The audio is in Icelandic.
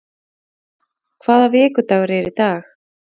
Armenía, hvaða vikudagur er í dag?